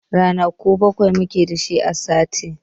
Ranaku bakwai mu ke da su a sati.